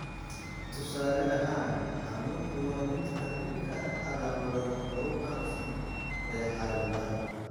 Tusaale ahaan, xanuunku waa mid ka mid ah calaamadaha ugu caansan ee xaaladda.